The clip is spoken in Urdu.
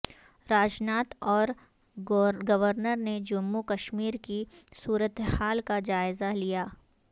راجناتھ اور گورنر نے جموں کشمیر کی صورتحال کا جائزہ لیا